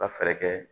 Ka fɛɛrɛ kɛ